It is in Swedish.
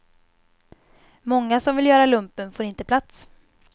Många som vill göra lumpen får inte plats.